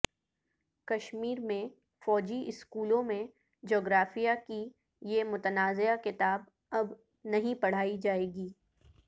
کشمیر میں فوجی سکولوں میں جغرافیہ کی یہ متنازعہ کتاب اب نہیں پڑھائی جائے گی